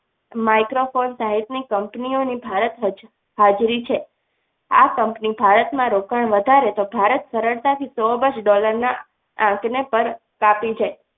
microphone type ની ભારતની company ઓ હજુ પણ હાજરી છે આ company ભારતમાં રોકાણ વધારે તો ભારત સરળતાથી સો આ બાજુ dollar ના આંકને પણ કાપી જાય.